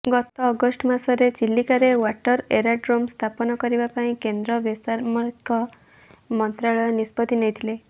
ଗତ ଅଗଷ୍ଟ ମାସରେ ଚିଲିକାରେ ୱାଟର ଏରୋଡ୍ରମ ସ୍ଥାପନ କରିବା ପାଇଁ କେନ୍ଦ୍ର ବେସାମରିକ ମନ୍ତ୍ରାଳୟ ନିଷ୍ପତି ନେଇଥିଲେ